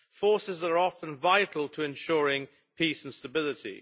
forces that are often vital to ensuring peace and stability.